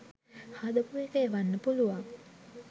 හදපු එක එවන්න පුළුවන්.